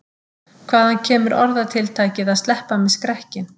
Hvaðan kemur orðatiltækið að sleppa með skrekkinn?